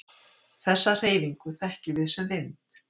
Þessa hreyfingu þekkjum við sem vind.